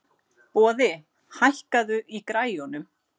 Boði, hækkaðu í græjunum.